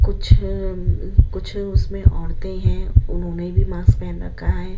कुछ-कुछ उसमें औरतें हैं उन्होंने भी मास्क पहन रखा है।